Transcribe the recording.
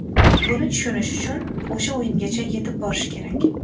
Buni tushunish uchun o‘sha o‘yingacha yetib borish kerak.